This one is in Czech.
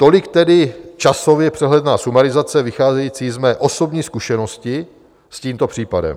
Tolik tedy časově přehledná sumarizace, vycházející z mé osobní zkušenosti s tímto případem.